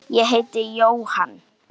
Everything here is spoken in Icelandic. Ég heiti Jóhann.